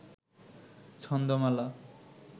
ছন্দমালা